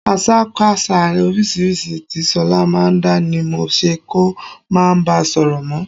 Àṣàkaṣà oríṣiríṣi tí ṣọlá máa ń dá ni mo ṣe kó máa bá sọ̀rọ̀ mọ́